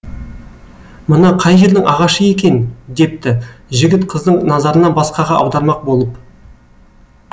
мына қай жердің ағашы екен депті жігіт қыздың назарына басқаға аудармақ болып